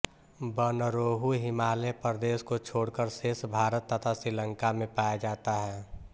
बनरोहू हिमालय प्रदेश को छोड़कर शेष भारत तथा श्रीलंका में पाया जाता है